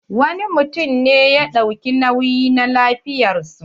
Wani mutum ne ya ɗauki nauyi na lafiyar su.